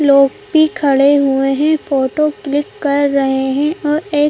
लोग भी खड़े हुए हैं फोटो क्लिक कर रहे हैं और एक--